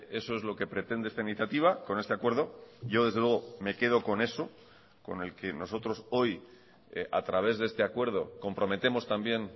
eso es lo que pretende esta iniciativa con este acuerdo yo desde luego me quedo con eso con el que nosotros hoy a través de este acuerdo comprometemos también